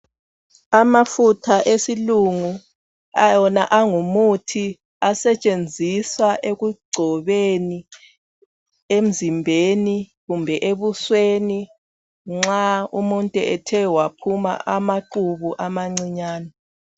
Amafutha esilungu wona angumuthi asetshenziswa ekugcobeni emzimbeni kumbe ebusweni nxa umuntu ethe waphuma amaqubu amancinyane.